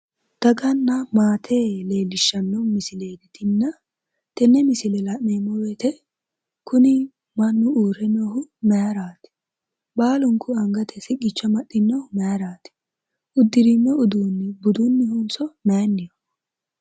Daganna maate leellishshanno misileeti tinina tenne misile la'neemmo woyite kuni mannu uurre noohu mayiraati? Baalunku angate siqqicho amaxxinnohu mayiraati? Uddirinno udiinni budunnihonso mayinnoho?